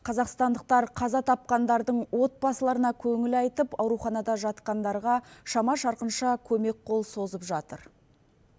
қазақстандықтар қаза тапқандардың отбасыларына көңіл айтып ауруханада жатқандарға шама шарқынша көмек қол созып жатыр